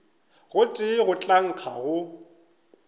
gotee go tla nkga go